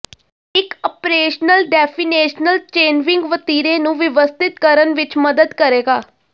ਇੱਕ operational definition ਚੇਨਵਿੰਗ ਵਤੀਰੇ ਨੂੰ ਵਿਵਸਥਿਤ ਕਰਨ ਵਿੱਚ ਮਦਦ ਕਰੇਗਾ